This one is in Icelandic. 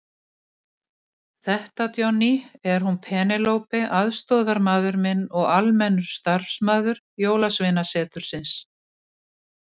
Þetta Johnny, er hún Penélope aðstoðarmaður minn og almennur starfsmaður Jólasveinasetursins.